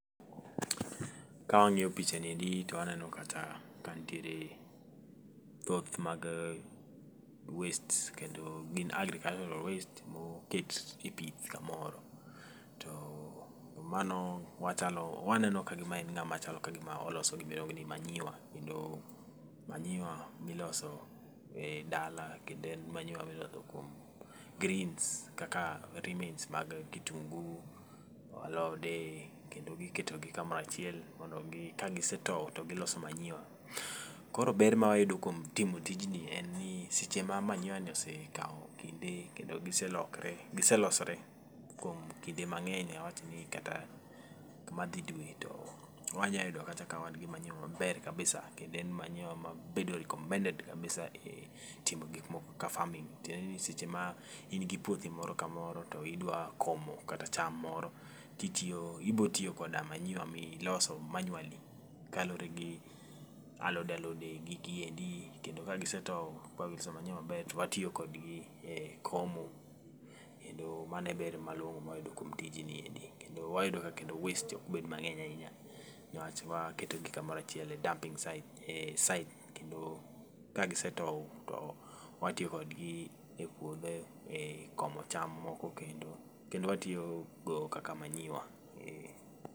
Ka wang'iyo picha niendi to waneno kacha ka nitiere thoth mag waste kendo gin agricultural waste ma oket e pith kamoro. To mano, wachalo, waneno kagima en ng'ama chalo kagima oloso gima iluongo ni manyiwa kendo manyiwa miloso e dala kendo en manyiwa miloso kuom greens kaka remains mag kitungu, alode, kendo giketo gi kamoro achiel mondo gi kagisetow to giloso manyiwa. Koro ber ma wayudo kuom timo tij ni en ni, seche ma manyiwa ni osekao kinde kendo giselokre, giselosore kuom kinde mang'eny, awach ni kata madhi dwe, to wanya yudo kata ka wan gi manyiwa maber kabisa kendo en manyiwa mabedo recommended kabisa e timo farming. Tiende ni seche ma in gi puothi moro kamoro to idwa komo kata cham moro, titiyo ibo tiyo koda manyiwa miloso manually kaluwore gi alode alode gi giendi kendo ka gisetow ba giloso manyiwa maber to watiyo kodgi e komo kendo mano e ber malong'o ma wayudo kuom tij niendi. Kendo wayudo ka kendo waste okbed mang'eny ahinya niwach waketo gi kamoro achiel e dumping site, e site kendo ka gisetow to watiyo kodgi e puodho e komo cham moko kendo. Kendo watiyogo kaka manyiwa.